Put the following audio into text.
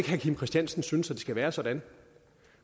herre kim christiansen synes at det skal være sådan